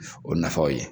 O nafaw ye